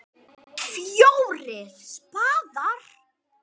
FJÓRIR spaðar.